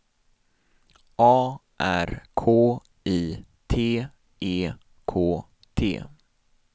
A R K I T E K T